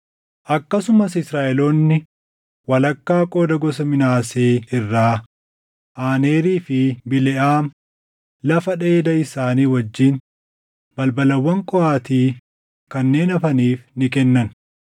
Akkasumas Israaʼeloonni walakkaa qooda gosa Minaasee irraa Aanerii fi Bileʼaam lafa dheeda isaanii wajjin balbalawwan Qohaati kanneen hafaniif ni kennan.